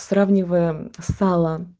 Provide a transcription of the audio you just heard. сравнивая сало